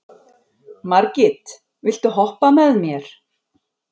Margit, viltu hoppa með mér?